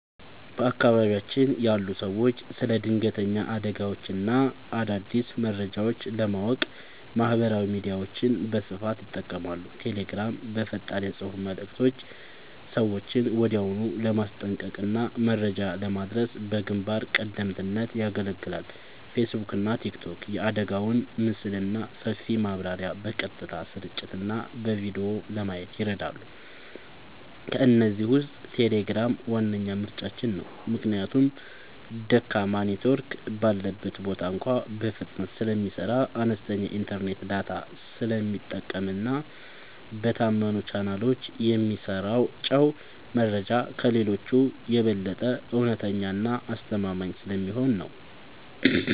በአካባቢያችን ያሉ ሰዎች ስለ ድንገተኛ አደጋዎችና አዳዲስ መረጃዎች ለማወቅ ማህበራዊ ሚዲያዎችን በስፋት ይጠቀማሉ። ቴሌግራም፦ በፈጣን የፅሁፍ መልዕክቶች ሰዎችን ወዲያውኑ ለማስጠንቀቅና መረጃ ለማድረስ በግንባር ቀደምትነት ያገለግላል። ፌስቡክና ቲክቶክ፦ የአደጋውን ምስልና ሰፊ ማብራሪያ በቀጥታ ስርጭትና በቪዲዮ ለማየት ይረዳሉ። ከእነዚህ ውስጥ ቴሌግራም ዋነኛ ምርጫችን ነው። ምክንያቱም ደካማ ኔትወርክ ባለበት ቦታ እንኳ በፍጥነት ስለሚሰራ፣ አነስተኛ የኢንተርኔት ዳታ ስለሚጠቀምና በታመኑ ቻናሎች የሚሰራጨው መረጃ ከሌሎቹ የበለጠ እውነተኛና አስተማማኝ ስለሚሆን ነው።